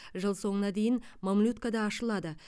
жыл соңына дейін мамлюткада ашылады